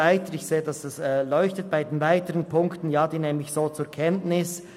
Was die weiteren Punkte angeht, nehme ich diese so zur Kenntnis.